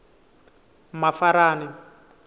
mafarani